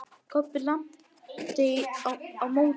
Kobbi lamdi á móti.